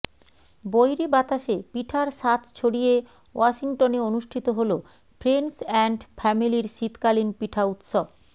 বৈরী বাতাশে পিঠার স্বাধ ছড়িয়ে ওয়াশিংটনে অনুষ্ঠিত হল ফ্রেন্ডস এ্যান্ড ফ্যামেলীর শীতকালীন পিঠা উৎসব